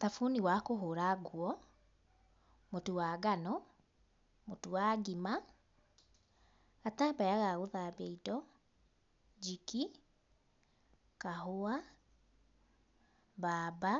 Thamuni wa kũhũra nguo, mũtu wa ngano, mũtu wa ngima, gatambaya ga gũthambia indo, jiki, kahũa, bamba,